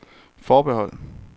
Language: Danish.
forbehold